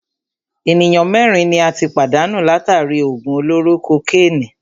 Ènìyàn mẹ́rin ni a tí pàdánù látàri í òògùn olóró kokénìí.